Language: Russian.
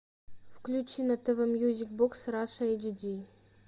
включи на тв мьюзик бокс раша эйч ди